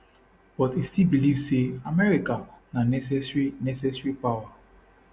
but e still believe say america na necessary necessary power